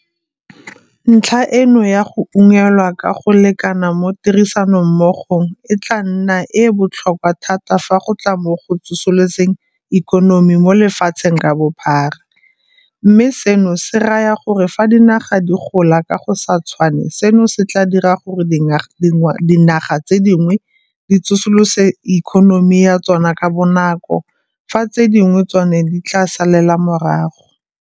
Ntlha eno ya go unngwelwa ka go lekana mo tirisanommogong e tla nna e e botlhokwa thata fa go tla mo go tsosoloseng ikonomi mo lefatsheng ka bophara, mme seno se raya gore fa dinaga di gola ka go se tshwane seno se tla dira gore dianaga tse dingwe di tsosolose ikonomi ya tsona ka bonako fa tse dingwe tsona di tla salela morago.